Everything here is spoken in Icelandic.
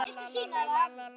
sumri lofar hlýju.